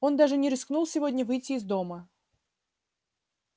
он даже не рискнул сегодня выйти из дома